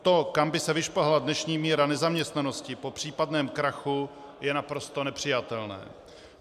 To, kam by se vyšplhala dnešní míra nezaměstnanosti po případném krachu, je naprosto nepřijatelné.